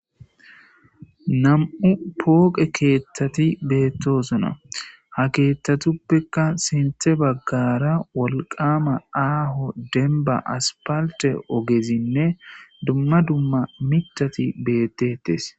Nam'u pooqe keeththati beettosona ha keeththatuppekka sinthe baggara wolqama aaho denba aspalte ogezinne dumma dumma mitati beettetes.